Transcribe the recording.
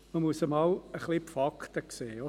Man muss einmal die Fakten sehen.